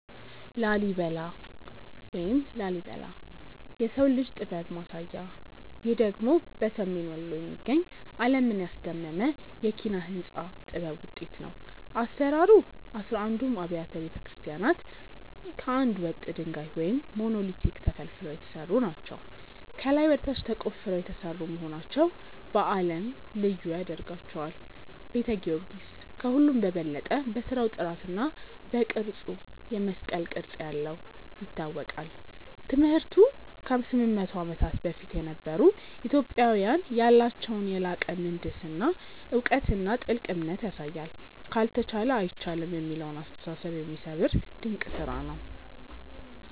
ላሊበላ (Lalibela) - "የሰው ልጅ ጥበብ ማሳያ" ይህ ደግሞ በሰሜን ወሎ የሚገኝ፣ ዓለምን ያስደመመ የኪነ-ሕንጻ ጥበብ ውጤት ነው። አሰራሩ፦ አሥራ አንዱም አብያተ ክርስቲያናት ከአንድ ወጥ ድንጋይ (Monolithic) ተፈልፍለው የተሰሩ ናቸው። ከላይ ወደ ታች ተቆፍረው የተሰሩ መሆናቸው በዓለም ላይ ልዩ ያደርጋቸዋል። ቤተ ጊዮርጊስ፦ ከሁሉም በበለጠ በሥራው ጥራትና በቅርጹ (የመስቀል ቅርጽ ያለው) ይታወቃል። ትምህርቱ፦ ከ800 ዓመታት በፊት የነበሩ ኢትዮጵያውያን ያላቸውን የላቀ የምህንድስና እውቀትና ጥልቅ እምነት ያሳያል። "ካልተቻለ አይቻልም" የሚለውን አስተሳሰብ የሚሰብር ድንቅ ስራ ነው።